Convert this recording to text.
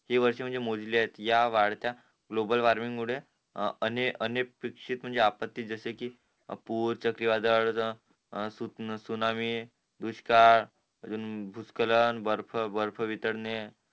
हि वर्ष म्हणजे मोजलीयेत या वाढत्या ग्लोबल वॉर्मिंग मुळे अनेपेक्षिक आपत्ती म्हणजे जसं कि सुनामी दुष्काळ अजून बुचकलन बर्फ वितंडणे